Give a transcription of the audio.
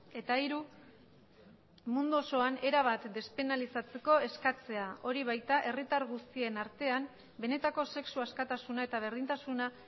eta hiru mundu osoan erabat despenalizatzeko eskatzea hori baita herritar guztien artean benetako sexu askatasuna eta berdintasuna